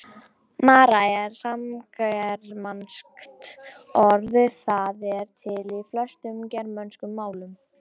Mara er samgermanskt orð, það er til í flestum germönskum málum.